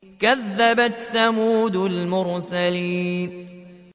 كَذَّبَتْ ثَمُودُ الْمُرْسَلِينَ